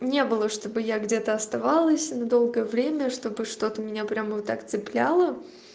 не было чтобы я где-то оставалось на долгое время чтобы что-то меня прямо вот так цепляло